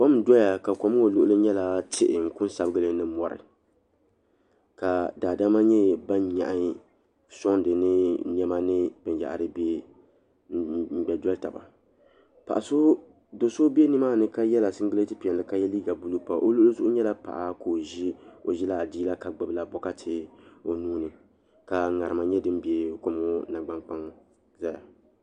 Kom n doya ka kom ŋɔ luɣuli kam nyɛla tihi n kunsabigili ni mori ka daadama nyɛ ban nyaɣi sondi ni niɛma ni binyahiri n gba doli taba do'so be nimaani ka yela singileti piɛlli ka ye liiga buluu pa o luɣili zuɣu nyɛla paɣa ka o ʒila adiila ka gbibi la boɣati o nuuni ka ŋarima nyɛ din be kuliga nangban kpaŋa zaya.